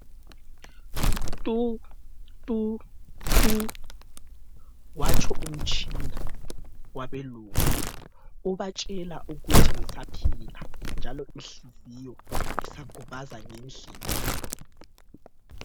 Tu tu tu, watsho umtshina wabelungu ubatshela ukuthi ngisaphila njalo inhliziyo isagubaza ngendlela.